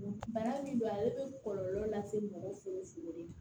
Bana min don ale bɛ kɔlɔlɔ lase mɔgɔ fu fu de ma